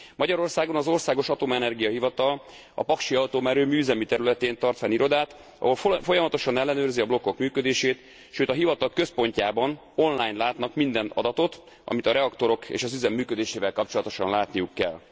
Magyarországon az Országos Atomenergia Hivatal a Paksi Atomerőmű üzemi területén tart fenn irodát, ahol folyamatosan ellenőrzi a blokkok működését, sőt a hivatal központjában online látnak minden adatot, amit a reaktorok és az üzem működésével kapcsolatosan látniuk kell.